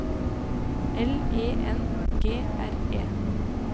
L E N G R E